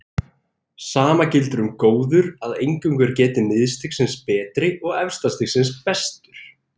Sama gildir um góður að eingöngu er getið miðstigsins betri og efsta stigsins bestur.